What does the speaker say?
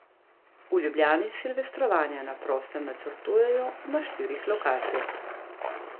V Ljubljani silvestrovanja na prostem načrtujejo na štirih lokacijah.